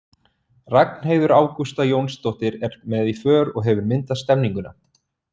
Ragnheiður Ágústa Jónsdóttir er með í för og hefur myndað stemmninguna.